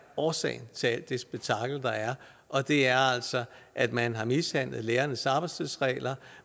årsagen til alt det spektakel der er og det er altså at man har mishandlet lærernes arbejdstidsregler